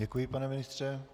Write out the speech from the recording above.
Děkuji, pane ministře.